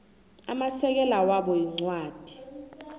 amasekela wabo incwadi